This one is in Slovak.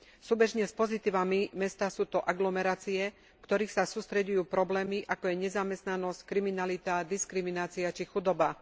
Súbežne s pozitívami mesta sú to aglomerácie, v ktorých sa sústreďujú problémy, ako je nezamestnanosť, kriminalita, diskriminácia či chudoba.